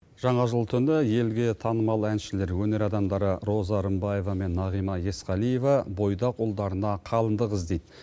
жаңа жыл түні елге танымал әншілер өнер адамдары роза рымбаева мен нағима есқалиева бойдақ ұлдарына қалыңдық іздейді